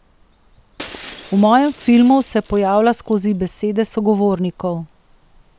V mojem filmu se pojavlja skozi besede sogovornikov.